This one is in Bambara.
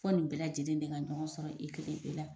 Fɔ nin bɛɛ lajɛlen de ka ɲɔgɔn sɔrɔ i kelen e la